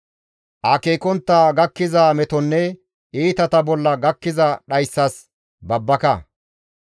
Akeekontta gakkiza metonne iitata bolla gakkiza dhayssas babbaka.